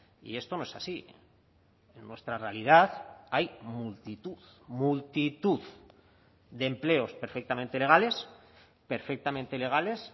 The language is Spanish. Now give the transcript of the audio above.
y esto no es así en nuestra realidad hay multitud multitud de empleos perfectamente legales perfectamente legales